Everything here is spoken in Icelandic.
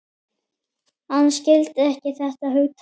Hann skildi ekki þetta hugtak.